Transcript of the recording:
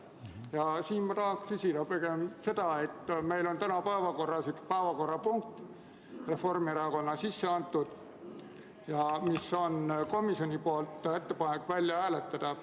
Ja siinkohal tahan ma küsida seda, et meil on täna päevakorras üks punkt, mille on sisse andnud Reformierakond ja mille kohta komisjon on teinud ettepaneku see välja hääletada.